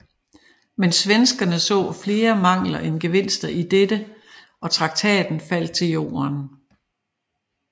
Men svenskerne så flere mangler end gevinster i dette og traktaten faldt til jorden